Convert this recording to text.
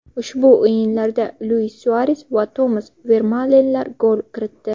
Ushbu o‘yinlarda Luis Suares va Tomas Vermalenlar gol kiritdi.